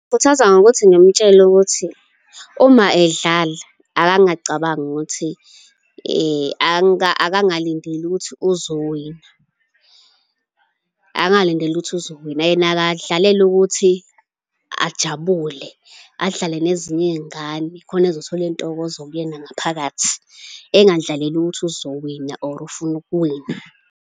Ngingamkhuthaza ngokuthi ngimtshele ukuthi uma edlala akangacabangi ukuthi akangalindeli ukuthi uzowina, akangalindeli ukuthi uzowina, yena akadlalele ukuthi ajabule, adlale nezinye iy'ngane khona ezothola intokozo kuyena ngaphakathi, engadlaleli ukuthi izowina or ufuna ukuwina.